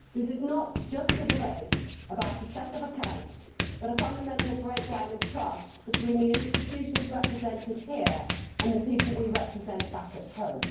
This is not just a debate about a set of accounts, but a fundamental breakdown in trust between the institutions represented here and the people we represent back at home.